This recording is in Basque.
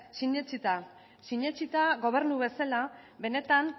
sinetsita gobernu bezala benetan